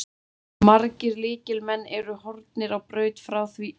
Margir lykilmenn eru horfnir á braut frá því í fyrra.